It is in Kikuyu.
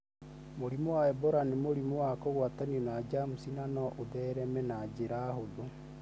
Mũrimũ wa Ebola nĩ mũrimũ wa kũgwatanio na jamuci na no ũthereme na njĩra hũthũ